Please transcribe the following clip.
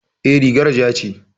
E, rigar ja ce.